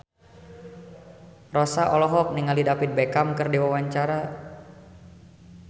Rossa olohok ningali David Beckham keur diwawancara